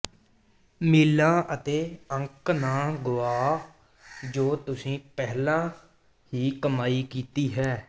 ਮੀਲਾਂ ਅਤੇ ਅੰਕ ਨਾ ਗੁਆਓ ਜੋ ਤੁਸੀਂ ਪਹਿਲਾਂ ਹੀ ਕਮਾਈ ਕੀਤੀ ਹੈ